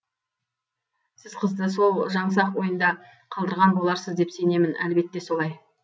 сіз қызды сол жаңсақ ойында қалдырған боларсыз деп сенемін әлбетте солай